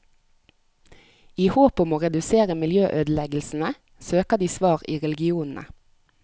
I håp om å redusere miljøødeleggelsene, søker de svar i religionene.